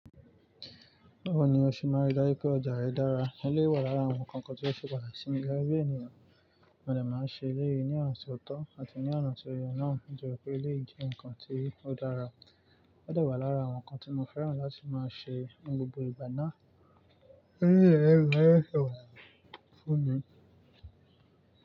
Báwo ni o ṣe máa rí dájú pé ọjà rẹ dára? Eleyi wà lára àwọn nǹkan tí ó ṣe pàtàkì simi gege bi ènìyàn. Òdè máa ń ṣe léyìí ní ọnà ti ọ̀tọ̀ àti ní ọnà tó ye náà nítorípé eleyi jẹ́ ǹkan tí ó dára. Ó dà wà lára àwọn nǹkan tí mo fẹ́ràn láti máa ṣe ní gbogbo ìgbà náà.